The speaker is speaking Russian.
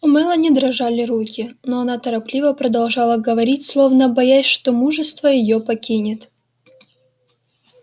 у мелани дрожали руки но она торопливо продолжала говорить словно боясь что мужество её покинет